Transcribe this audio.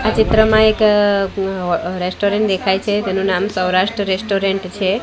આ ચિત્રમાં એક અહ અં ઓ રેસ્ટોરન્ટ દેખાય છે તેનો નામ સ્વરાષ્ટ રેસ્ટોરન્ટ છે.